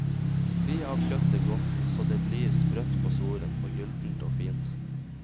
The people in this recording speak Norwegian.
Svi av kjøttet godt så det blir sprøtt på svoren og gyldent og fint.